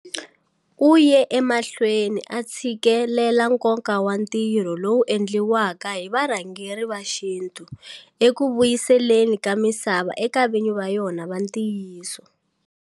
U ye emahlweni a tshikelela nkoka wa ntirho lowu wu endliwaka hi varhangeri va xintu eku vuyiseleni ka misava eka vinyi va yona va ntiyiso.